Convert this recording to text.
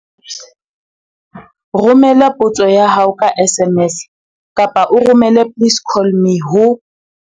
Romela potso ya hao ka SMS kapa o romele 'please call me' ho